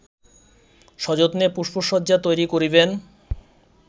সযত্নে পুষ্পশয্যা তৈরী করিবেন